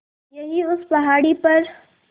यहीं उस पहाड़ी पर